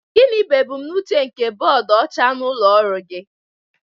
Gịnị bụ ebumnobi nke bọọdụ ọcha n'ụlọ ọrụ gị?